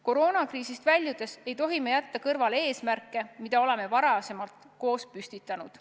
Koroonakriisist väljudes ei tohi me jätta kõrvale eesmärke, mis me oleme varem koos püstitanud.